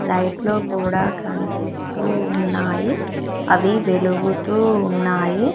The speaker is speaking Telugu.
లైట్లు కూడా కనిపిస్తూ ఉన్నాయి అవి వెలుగుతూ ఉన్నాయి.